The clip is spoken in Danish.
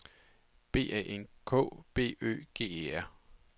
B A N K B Ø G E R